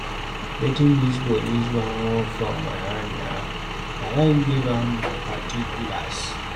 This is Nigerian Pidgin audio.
Wetin dis police man want from my hand na, I don give am particulars.